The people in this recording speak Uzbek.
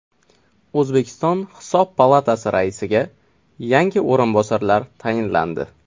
O‘zbekiston Hisob palatasi raisiga yangi o‘rinbosarlar tayinlandi.